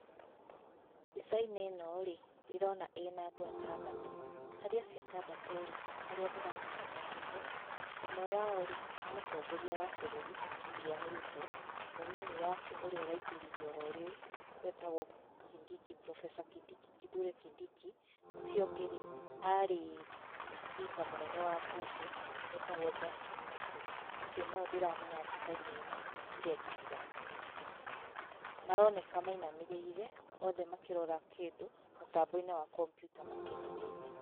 Mbica-inĩ ĩno rĩ, ndĩrona ĩna andũ atandatũ. Harĩa acio atandatũ rĩ, arĩa ndĩramenya nĩ atatũ, ũmwe wao rĩ, nĩ mũtongoria wa büũrũri William Ruto, mũnini wake ũrĩa ũraingĩrire oro rĩu etagwo Kindiki, Professor Kithure Kindiki. Ũcio ũngĩ rĩ, arĩ speaker mũnene wa bunge etagwo Justin Muturi. Acio no o ndĩramenya mbica-inĩ ĩno acio angĩ ndiramamenya. Maroneka mainamĩrĩire othe makĩrora kĩndũ mũtambo-inĩ wa kompiuta makenereire.